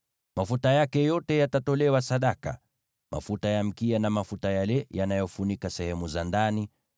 Mafuta yake yote yatatolewa sadaka: mafuta ya mkia na mafuta yale yanayofunika sehemu za ndani,